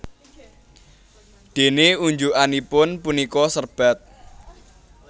Déné unjukanipun punika serbat